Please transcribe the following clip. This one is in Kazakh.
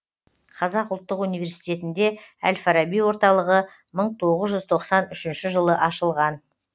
қазақ ұлттық университетінде әл фараби орталығы мың тоғыз жүз тоқсан үшінші жылы ашылған